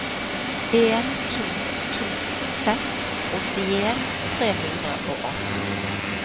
en to to seks åttien tre hundre og atten